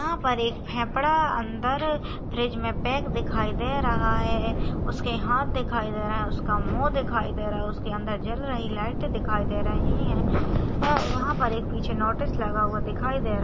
यहाँ पर एक फेफड़ा अंदर फ्रिज मे अंदर प्याक दिखाई दे रहा है उसके हात दिखाई दे रहे है उसका मू दिखाई दे रहा है उसके अंदर जल रही लाइट दिखाई दे रही है और वहाँ पर एक पीछे नोटिस लगा हुआ दिखाई दे रहा।